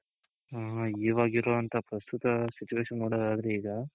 ಹ ಇವಾಗ್ ಇರೋ ಅಂತ ಪ್ರಸ್ತುತ situation ನೋಡೋದಾದ್ರೆ ಈಗ.